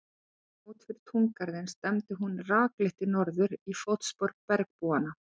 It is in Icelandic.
Þegar hún kom út fyrir túngarðinn stefndi hún rakleitt í norður, í fótspor bergbúanna.